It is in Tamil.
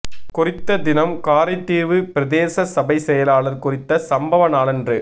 குறித்த தினம் காரைதீவு பிரதேச சபை செயலாளர் குறித்த சம்பவ நாளன்று